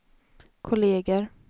kolleger